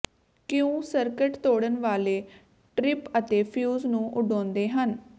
ਕਿਉਂ ਸਰਕਟ ਤੋੜਨ ਵਾਲੇ ਟਰਿਪ ਅਤੇ ਫਿਊਜ਼ ਨੂੰ ਉਡਾਉਂਦੇ ਹਨ